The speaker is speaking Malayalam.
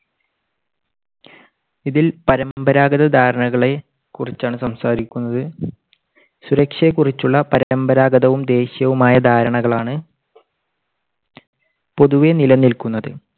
ഇതിൽ പരമ്പരാഗത ധാരണകളെ കുറിച്ചാണ് സംസാരിക്കുന്നത്. സുരക്ഷയെക്കുറിച്ചുള്ള പരമ്പരാഗതവും ദേശീയവുമായ ധാരണകളാണ് പൊതുവേ നിലനിൽക്കുന്നത്.